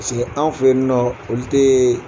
Paseke anw fɛ yen nɔ olu tɛ